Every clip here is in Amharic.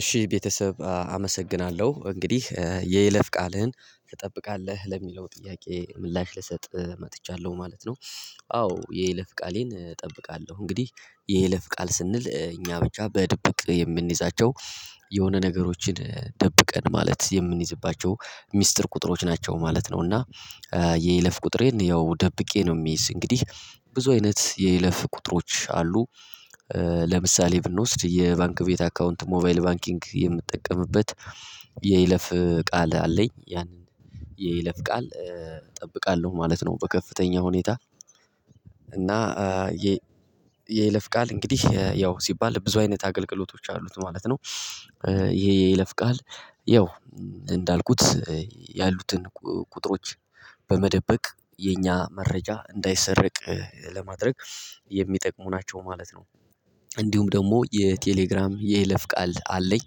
እሺ ቤተሰብ አመሰግናለሁ እንግዲህ የይለፍ ቃልህን ትጠብቃለህ ለሚለው ጥያቄ ምላሽ ልሰጥ መጥቻለሁ ማለት ነው። አዎ የይለፍ ቃሌን እጠብቃለሁ እንግዲህ የይለፍ ቃል ስንል እኛ ብቻ በድብቅ የምንይዛቸው የሆነ ነገሮችን ደብቀን ማለት የምንይዝባቸው ሚስጥር ቁጥሮች ናቸው ማለት ነው። እና የይለፍ ቁጥሬን ያው ደብቄ ነው የሚይዝ እንግዲህ ብዙ አይነት የይለፍ ቁጥሮች አሉ። ለምሳሌ ብንወስድ የባንክ ቤት አካውንት ሞባይል ባንኪንግ የምጠቀምበት የይለፍ ቃል አለኝ ያንን የይለፍ ቃል እጠብቃለሁ ማለት ነው። በከፍተኛ ሁኔታ እና የይለፍ ቃል እንግዲህ ያው ሲባል ብዙ አይነት አገልግሎቶች አሉት ማለት ነው። ይሄ የይለፍ ቃል ያው እንዳልኩት ያሉትን ቁጥሮች በመደበቅ የኛ መረጃ እንዳይሰረቅ ለማድረግ የሚጠቅሙ ናቸው ማለት ነው። እንዲሁም ደግሞ የቴሌግራም የይለፍ ቃል አለኝ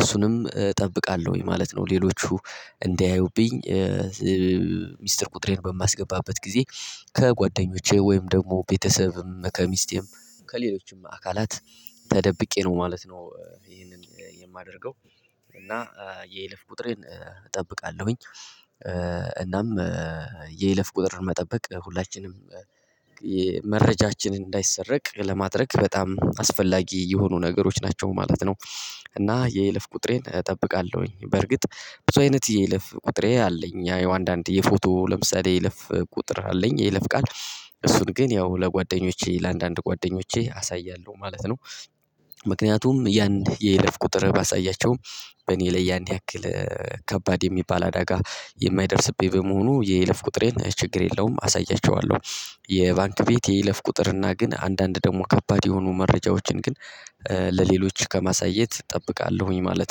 እሱንም እጠብቃለሁኝ ማለት ነው። ሌሎቹ እንዳያዩብኝ ሚስጥር ቁጥሬን በማስገባበት ጊዜ ከጓደኞቼ ወይም ደግሞ ቤተሰብም ከሚስቴም ከሌሎችም አካላት ተደብቄ ነው ማለት ነው። ይሄንን የማደርገው እና የይልፍ ቁጥሬን እጠብቃለሁኝ። እናም የይለፍ ቁጥር መጠበቅ ሁላችንም መረጃችን እንዳይሰረቅ ለማድረግ በጣም አስፈላጊ የሆኑ ነገሮች ናቸው ማለት ነው። እና የይልፍ ቁጥሬን እጠብቃለሁኝ በርግጥ ብዙ አይነት የይልፍ ቁጥሬ አለኝ ያየው አንዳንድ የፎቶ ለምሳሌ ይለፍ ቁጥር አለኝ ይለፍ ቃል እሱን ግን ያው ለጓደኞቼ ለአንዳንድ ጓደኞቼ አሳያለሁ ማለት ነው። ምክንያቱም እያንዳንዱ የይለፍ ቁጥር ባሳያቸውም በእኔ ላይ ያክል ከባድ የሚባል አደጋ የማይደርስብኝ በመሆኑ የይለፍ ቁጥሬን ችግር የለውም አሳያቸዋለሁ። የባንክ ቤት የይለፍ ቁጥር እና ግን አንዳንድ ደግሞ ከባድ የሆኑ መረጃዎችን ግን ለሌሎች ከማሳየት እጠብቃለሁኝ ማለት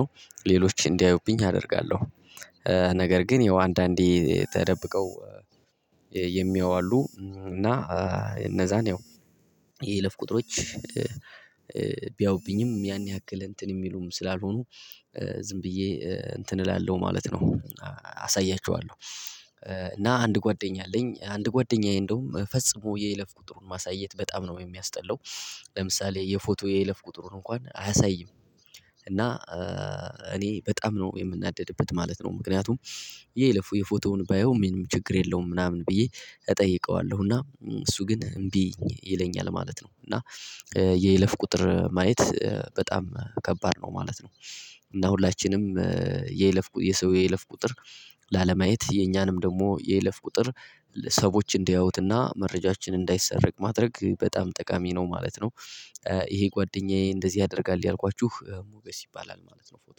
ነው። ሌሎች እንዲያዩብኝ አደርጋለሁ ነገር ግን ያው አንዳንዴ ተደብቀው የሚያየው አሉ እና እነዛን ያው የለፍ ቁጥሮች ቢያውብኝም ያን ያክል እንትን የሚሉም ስላልሆኑ ዝም ብዬ እንትን እላለው ማለት ነው አሳያችኋለሁ። እና አንድ ጓደኛ አለኝ አንድ ጓደኛዬ እንደውም ፈጽሞ የይለፍ ቁጥሩን ማሳየት በጣም ነው የሚያስጠላው። ለምሳሌ የፎቶ የይለፍ ቁጥሩን እንኳን አያሳይም እና እኔ በጣም ነው የምናደድበት ማለት ነው። ምክንያቱም ይሄ የፎቶውን ባየው ምንም ችግር የለውም ምናምን ብዬ እጠይቀዋለሁ እና እሱ ግን እምቢ ይለኛል ማለት ነው። እና የይለፍ ቁጥር ማየት በጣም ከባድ ነው ማለት ነው። እና ሁላችንም የይለፍ የሰው የይለፍ ቁጥር ላለማየት የኛንም ደግሞ የይለፍ ቁጥር ሰዎች እንዲያዩትና መረጃችን እንዳይሰረቅ ማድረግ በጣም ጠቃሚ ነው ማለት ነው። ይሄ ጓደኛዬ እንደዚህ ያደርጋል ያልኳችሁ ሞገስ ይባላል ማለት ነው። ፎቶ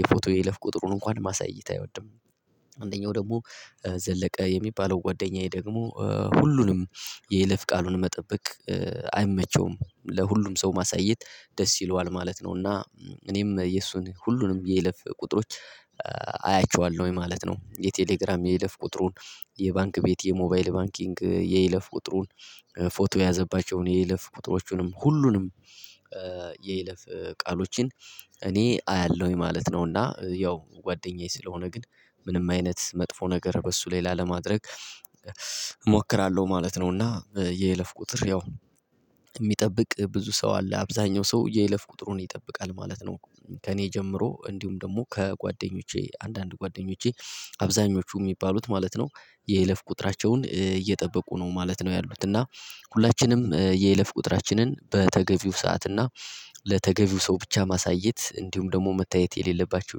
የፎቶ የለፍ ቁጥሩን እንኳን ማሳየት አይወድም። አንደኛው ደግሞ ዘለቀ የሚባለው ጓደኛዬ ደግሞ ሁሉንም የይለፍ ቃሉን መጠበቅ አይመቸውም ለሁሉም ሰው ማሳየት ደስ ይለዋል ማለት ነው። እና እኔም የእሱን ሁሉንም የለፍ ቁጥሮች አያቸዋለሁ ማለት ነው የቴሌግራም የይለፍ ቁጥሩን የባንክ ቤት የሞባይል ባንኪንግ የይለፍ ቁጥሩን ፎቶ የያዘባቸውን የይለፍ ቁጥሮቹንም ሁሉንም የይለፍ ቃሎችን እኔ አያለሁኝ ማለት ነው። እና ያው ጓደኛዬ ስለሆነ ግን ምንም አይነት መጥፎ ነገር በሱ ላይ ላለማድረግ እሞክራለሁ ማለት ነው። እና የይለፍ ቁጥር ያው የሚጠብቅ ብዙ ሰው አለ አብዛኛው ሰው የይለፍ ቁጥሩን ይጠብቃል ማለት ነው። ከእኔ ጀምሮ እንዲሁም ደግሞ ከጓደኞቼ አንዳንድ ጓደኞቼ አብዛኞቹ የሚባሉት ማለት ነው የይለፍ ቁጥራቸውን እየጠበቁ ነው ማለት ነው። ያሉት እና ሁላችንም የይለፍ ቁጥራችንን በተገቢው ሰዓት እና ለተገቢው ሰው ብቻ ማሳየት እንዲሁም ደግሞ መታየት የሌለባቸው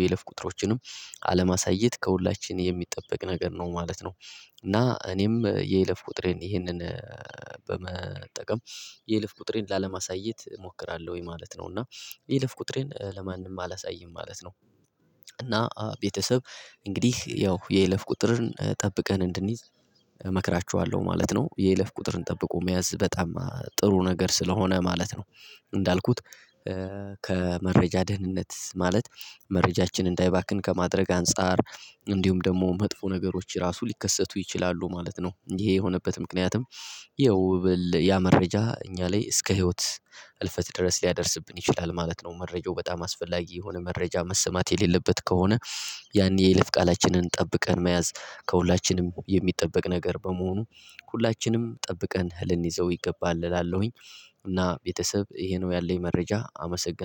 የይለፍ ቁጥሮችንም አለማሳየት ከሁላችንም የሚጠበቅ ነገር ነው ማለት ነው። እና እኔም የይለፍ ቁጥሬን ይሄንን በመጠቀም የይለፍ ቁጥሬን ላለማሳየት እሞክራለሁ ወይ ማለት ነው? እና የይልፍ ቁጥሬን ለማንም አላሳይም ማለት ነው። እና ቤተሰብ እንግዲህ ያው የይለፍ ቁጥርን ጠብቀን እንድንይዝ እመክራችኋለሁ ማለት ነው። የይለፍ ቁጥርን ጠብቆ መያዝ በጣም ጥሩ ነገር ስለሆነ ማለት ነው። እንዳልኩት ከመረጃ ደህንነት ማለት መረጃችን እንዳይባክን ከማድረግ አንፃር እንዲሁም ደግሞ መጥፎ ነገሮች ራሱ ሊከሰቱ ይችላሉ ማለት ነው። ይሄ የሆነበት ምክንያትም ይኸው ያ መረጃ እኛ ላይ እስከ ህይወት እልፈት ድረስ ሊያደርስብን ይችላል ማለት ነው። መረጃው በጣም አስፈላጊ የሆነ መረጃ መሰማት የሌለበት ከሆነ ያን የይለፍ ቃላችንን ጠብቀን መያዝ ከሁላችንም የሚጠበቅ ነገር በመሆኑ ሁላችንም ጠብቀን ልንይዘው ይገባል እላለሁኝ። እና ቤተሰብ ይሄ ነው ያለኝ መረጃ አመሰግናለሁ